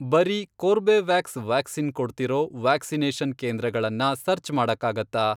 ಬರೀ ಕೋರ್ಬೆವ್ಯಾಕ್ಸ್ ವ್ಯಾಕ್ಸಿನ್ ಕೊಡ್ತಿರೋ ವ್ಯಾಕ್ಸಿನೇಷನ್ ಕೇಂದ್ರಗಳನ್ನ ಸರ್ಚ್ ಮಾಡಕ್ಕಾಗತ್ತಾ?